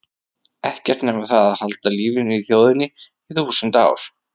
Ekkert nema það að halda lífinu í þjóðinni í þúsund ár.